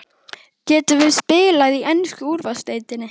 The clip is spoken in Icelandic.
Gætum við spila í ensku úrvalsdeildinni?